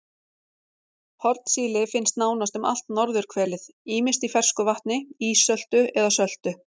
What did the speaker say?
Hornsíli finnst nánast um allt norðurhvelið ýmist í fersku vatni, ísöltu eða söltu.